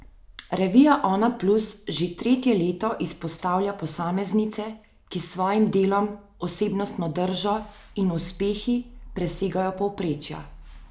Revija Onaplus že tretje leto izpostavlja posameznice, ki s svojimi delom, osebnostno držo in uspehi presegajo povprečja.